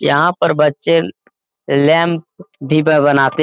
यहाँ पर बच्चे लैंप डिब्बा बनाते --